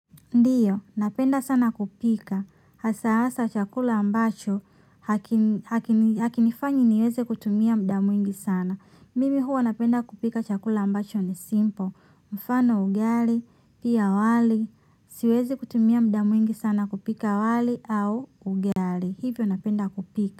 Ndiyo, napenda sana kupika, hasa hasa chakula ambacho, hakinifanyi niweze kutumia muda mwingi sana. Mimi huwa napenda kupika chakula ambacho ni simple, mfano ugali, pia wali, siwezi kutumia muda mwingi sana kupika wali au ugali. Hivyo napenda kupika.